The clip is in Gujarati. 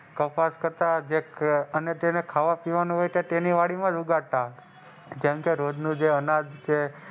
કપાસ કરતા અને જેને ખાવા પીવાનું હોય એને ખેતીવાડી માંજ ઉગાડતા જેમકે રોજ નું જે અનાજ,